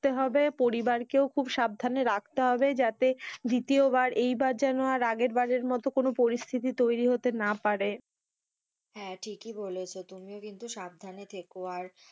থাকতে হবে, পরিবারকে সাবধানে রাখতে হবে এইবার যেন আর আগের বারের মতো কোনো পরিস্থিতি হতে না পারে হ্যাঁ, ঠিক ই বলেছো তুমিও কিন্তু সাবধানে থেকে আর,